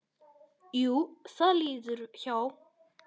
Jú, það líður hjá.